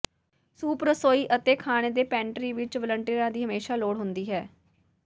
soup ਰਸੋਈ ਅਤੇ ਖਾਣੇ ਦੇ ਪੈਂਟਰੀ ਵਿਚ ਵਲੰਟੀਅਰਾਂ ਦੀ ਹਮੇਸ਼ਾਂ ਲੋੜ ਹੁੰਦੀ ਹੈ